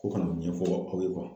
Ko kana o ɲɛfɔ u ka kɔnɔ